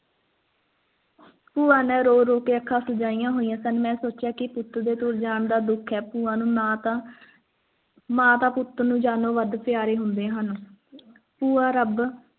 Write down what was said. ਭੂਆ ਨੇ ਰੋ-ਰੋ ਕੇ ਅੱਖਾਂ ਚੁੰਨ੍ਹੀਆਂ ਸਨ ਮੈਂ ਸੋਚਿਆ ਕਿ ਪੁੱਤ ਦੇ ਤੁਰ ਜਾਣ ਦਾ ਦੁੱਖ ਹੈ ਭੂਆ ਨੂੰ ਨਾ ਤਾਂ ਮਾਂ ਨੂੰ ਪੁੱਤ ਜਾਨੋਂ ਪਿਆਰੇ ਹੁੰਦੇ ਹਨ ਭੂਆ ਰੱਬ